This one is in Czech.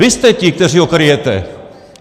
Vy jste ti, kteří ho kryjete!